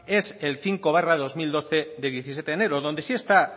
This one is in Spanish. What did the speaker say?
es cinco barra dos mil doce del diecisiete enero donde sí está